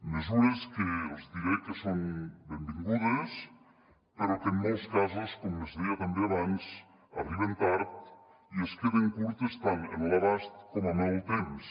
mesures que els diré que són benvingudes però que en molts casos com es deia també abans arriben tard i es queden curtes tant en l’abast com en el temps